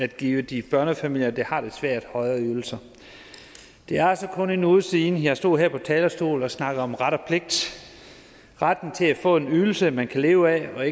at give de børnefamilier der har det svært højere ydelser det er altså kun en uge siden jeg stod her på talerstolen og snakkede om ret og pligt retten til at få en ydelse man kan leve af og